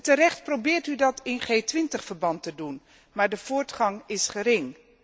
Terecht probeert u dat in G 20 verband te doen, maar de voortgang is gering.